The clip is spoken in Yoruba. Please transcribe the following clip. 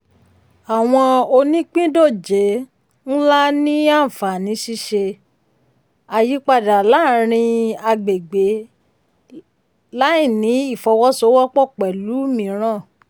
àwọn onípìndòjé um ńlá ní àǹfààní ṣíṣe um àyípadà láàrin agbègbè um láìní ìfọwọ́sowọ́pọ̀ pẹ̀lú mìíràn.